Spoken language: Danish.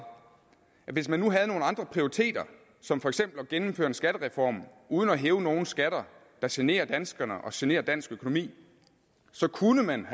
at hvis man havde nogle andre prioriteter som for eksempel at gennemføre en skattereform uden at hæve nogen skatter der generer danskerne og generer dansk økonomi så kunne man